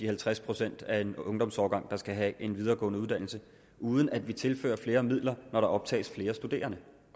halvtreds procent af en ungdomsårgang der skal have en videregående uddannelse uden at vi tilfører flere midler når der optages flere studerende